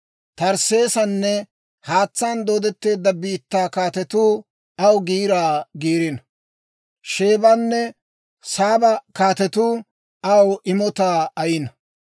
Tarsseesanne haatsaan dooddetteedda biittaa kaatetuu, aw giiraa giirino. Sheebanne Saaba kaatetuu, aw imotaa ayino.